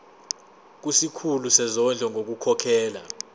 kusikhulu sezondlo ngokukhokhela